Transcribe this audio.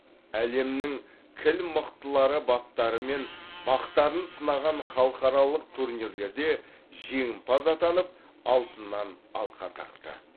әлемнің кіл мықтылары баптары мен бақтарын сынаған халықаралық турнирлерде жеңімпаз атанып алтыннан алқа тақты